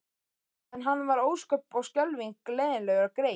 En hann var ósköp og skelfing leiðinlegur greyið.